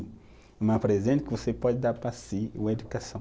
É um presente que você pode dar para si, a educação.